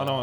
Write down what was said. Ano.